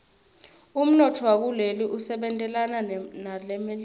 umnotfo wakuleli usebentelana nelemelika